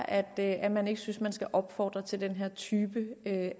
at være at man ikke synes at man skal opfordre til den her type